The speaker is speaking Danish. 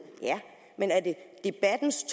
men er det debattens